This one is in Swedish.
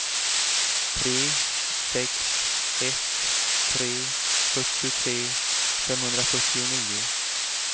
tre sex ett tre fyrtiotre femhundrafyrtionio